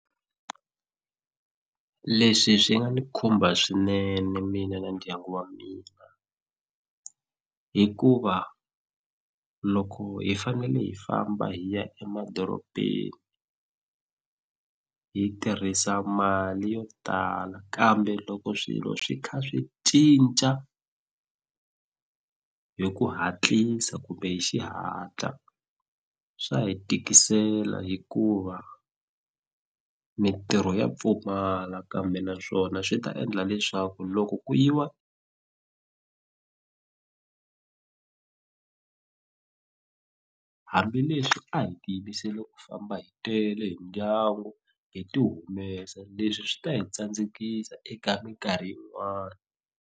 Leswi swi nga ni khumba swinene mina na ndyangu wa mina hikuva loko hi fanele hi famba hi ya emadorobeni hi tirhisa mali yo tala kambe loko swilo swi kha swi cinca hi ku hatlisa kumbe hi xihatla swa hi tikisela hikuva mintirho ya pfumala kambe naswona swi ta endla leswaku loko ku yiwa hambileswi a hi tiyimiseli ku famba hi tele hi ndyangu hi ti humesa leswi swi ta hi tsandzekisa eka minkarhi yin'wani.